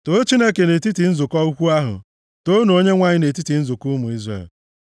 Too Chineke nʼetiti nzukọ ukwuu ahụ; toonu Onyenwe anyị nʼetiti nzukọ ụmụ Izrel.